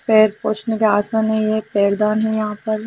पैर पोछने पे आसन है ये एक पैर दान है यहां पर।